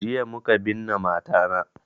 Jiya muka binne mata na